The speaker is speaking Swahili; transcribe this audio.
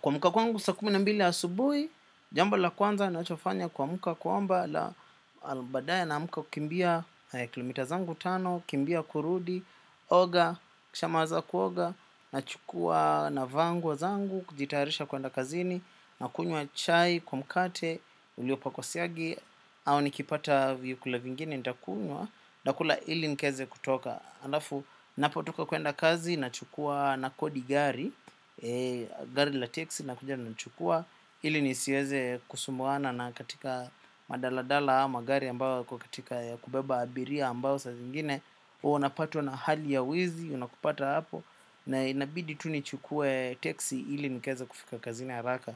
Kuamka kwangu saa kumi na mbili asubuhi, jambo la kwanza nachofanya kwa mka kuomba Allah badae na mka kukimbia kilomita zangu tano, kimbia kurudi, oga, kisha maliza kuoga, na chukua na vaa nguo zangu, kujitarisha kwenda kazini, na kunywa chai, kwa mkate, uliopako siagi, au nikipata vyakula vingine ntakunywa, na kula ili nkaeze kutoka. Alafu, napotoka kuenda kazi, nachukua na kodi gari, gari la teksi, linakuja linanichukua, ili nisiweze kusumbuana na katika madala dala ama gari ambao yako katika ya kubeba abiria ambao saa zingine, huwa unapatwa na hali ya uwizi, unakupata hapo, na inabidii tunichukue teksi ili nikaeze kufika kazini haraka.